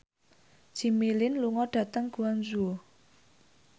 Jimmy Lin lunga dhateng Guangzhou